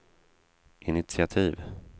initiativ